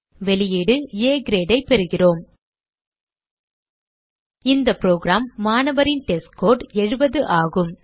வெளியீடு ஆ Grade ஐ பெறுகிறோம் இந்த புரோகிராம் மாணவரின் டெஸ்ட்ஸ்கோர் 70 ஆகும்